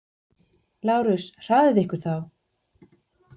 LÁRUS: Hraðið ykkur þá!